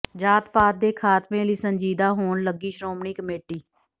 ਜਾਤ ਪਾਤ ਦੇ ਖ਼ਾਤਮੇ ਲਈ ਸੰਜੀਦਾ ਹੋਣ ਲੱਗੀ ਸ਼੍ਰੋਮਣੀ ਕਮੇਟੀ